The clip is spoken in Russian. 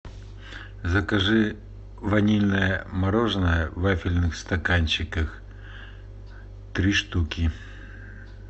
закажи ванильное мороженое в вафельных стаканчиках три штуки